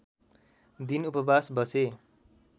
दिन उपवास बसे